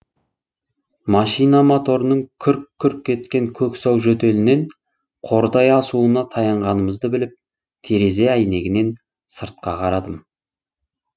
машина моторының күрк күрк еткен көксау жөтелінен қордай асуына таянғанымызды біліп терезе әйнегінен сыртқа қарадым